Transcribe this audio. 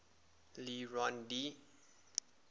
le rond d